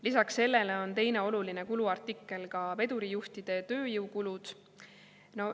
Lisaks sellele on teine oluline kuluartikkel vedurijuhtide tööjõukulud.